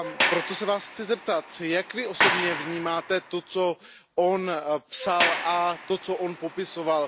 Proto se Vás chci zeptat Jak Vy osobně vnímáte to, co psal, a to, co popisoval?